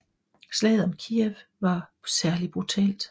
Slaget om Kijev var særligt brutalt